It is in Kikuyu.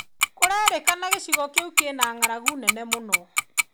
Kũrerĩkana gĩcigo kĩu kwina ng'aragu nene mũno.